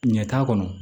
Ɲɛ t'a kɔnɔ